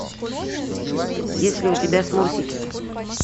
есть ли у тебя смурфики